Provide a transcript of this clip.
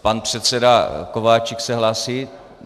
Pan předseda Kováčik se hlásí?